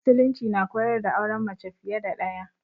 Musulunci na koyar da auren mace fiye da ɗaya.